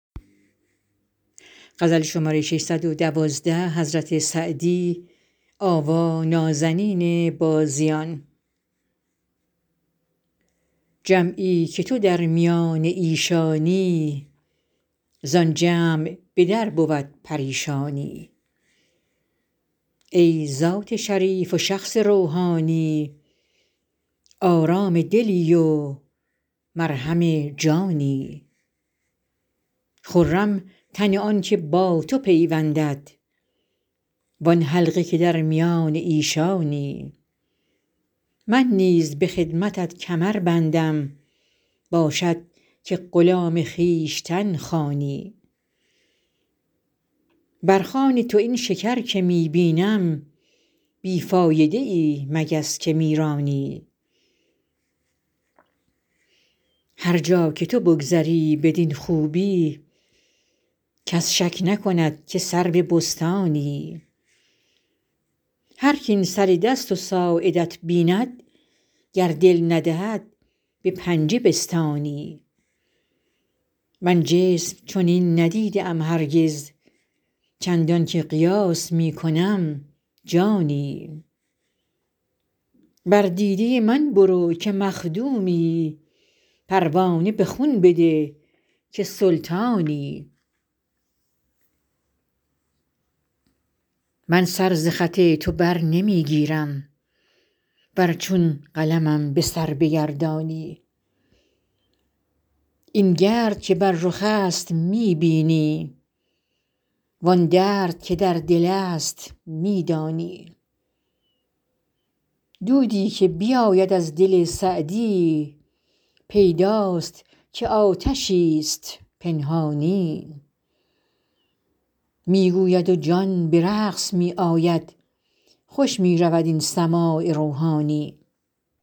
جمعی که تو در میان ایشانی زآن جمع به در بود پریشانی ای ذات شریف و شخص روحانی آرام دلی و مرهم جانی خرم تن آن که با تو پیوندد وآن حلقه که در میان ایشانی من نیز به خدمتت کمر بندم باشد که غلام خویشتن خوانی بر خوان تو این شکر که می بینم بی فایده ای مگس که می رانی هر جا که تو بگذری بدین خوبی کس شک نکند که سرو بستانی هرک این سر دست و ساعدت بیند گر دل ندهد به پنجه بستانی من جسم چنین ندیده ام هرگز چندان که قیاس می کنم جانی بر دیده من برو که مخدومی پروانه به خون بده که سلطانی من سر ز خط تو بر نمی گیرم ور چون قلمم به سر بگردانی این گرد که بر رخ است می بینی وآن درد که در دل است می دانی دودی که بیاید از دل سعدی پیداست که آتشی ست پنهانی می گوید و جان به رقص می آید خوش می رود این سماع روحانی